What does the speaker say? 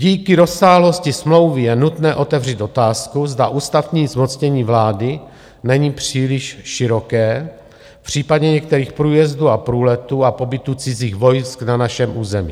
Díky rozsáhlosti smlouvy je nutné otevřít otázku, zda ústavní zmocnění vlády není příliš široké v případě některých průjezdů a průletů a pobytu cizích vojsk na našem území.